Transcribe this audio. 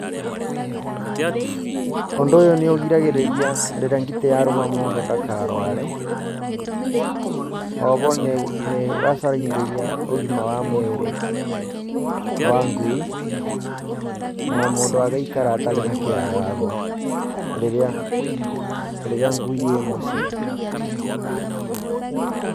Ũndũ ũyũ nĩ ũgiragĩrĩria rĩrĩa ngitĩ yarũma mũndũ ndakarũare, o ho nĩ ĩgacagithĩria ũgima wa mwĩrĩ wa ngui na mũndũ agaikara atarĩ na kĩagago rĩrĩa, rĩrĩa ngui ĩ mũciĩ.